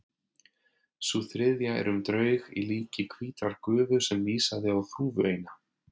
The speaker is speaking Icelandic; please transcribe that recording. Sú þriðja er um draug í líki hvítrar gufu sem vísaði á þúfu eina.